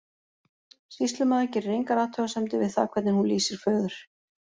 Sýslumaður gerir engar athugasemdir við það hvern hún lýsir föður.